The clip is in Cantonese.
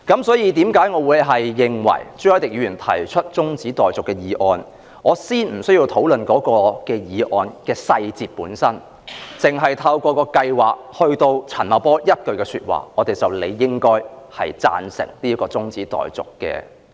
因此，對於朱凱廸議員提出的中止待續議案，我認為先不用討論議案的細節，只是出於陳茂波就計劃所說的一番話，我們便理應贊成這項中止待續議案。